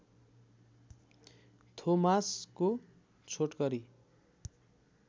थोमासको छोटकरी